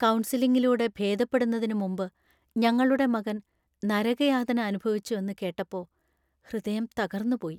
കൗൺസിലിങ്ങിലൂടെ ഭേദപ്പെടുന്നതിനു മുമ്പ് ഞങ്ങളുടെ മകൻ നരകയാതന അനുഭവിച്ചുവെന്ന് കേട്ടപ്പോ ഹൃദയം തകർന്നുപോയി .